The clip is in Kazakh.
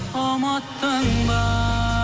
ұмыттың ба